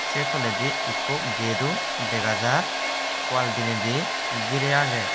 say tole di ikko gatedo dega jai wall dinay di gire agey.